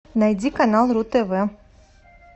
найди канал ру тв